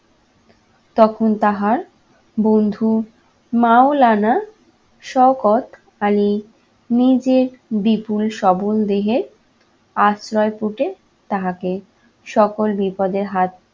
তখন তাহার বন্ধু, মাওলানা শওকত আলী নিজে বিপুল সবল দেহে আশ্রয়পুটে তাহাকে সকল বিপদের হাত